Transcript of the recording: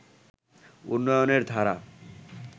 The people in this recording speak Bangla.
উন্নয়নের ধারা